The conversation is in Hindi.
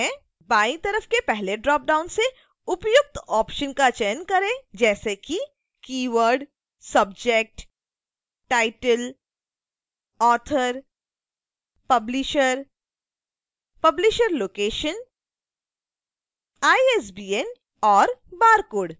बाईं तरफ के पहले ड्रॉपडाउन से उपयुक्त ऑप्शन्स का चयन करें जैसे कि: